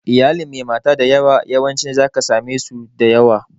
Iyalin mai mata da yawa, yawancin za ka same su da yawa.